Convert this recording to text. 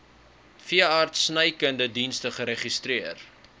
veeartsenykundige dienste geregistreer